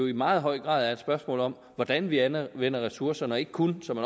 i meget høj grad er et spørgsmål om hvordan vi anvender ressourcerne og ikke kun som